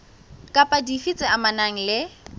kapa dife tse amanang le